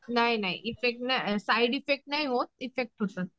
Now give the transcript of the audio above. नाही नाही side effect नाही होत इफेक्ट होतं.